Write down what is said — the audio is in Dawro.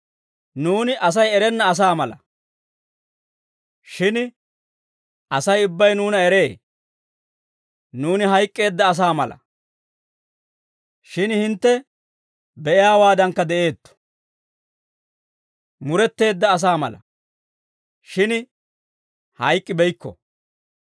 Nuuni Asay erenna asaa mala; shin Asay ubbay nuuna eree; nuuni hayk'k'eedda asaa mala; shin hintte be'iyaawaadankka de'eetto; muretteedda asaa mala; shin hayk'k'ibeykko.